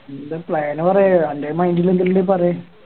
എന്താ Plan പറയ് അൻറെ Mind ല് എന്തേലും ഇണ്ടേൽ പറയ്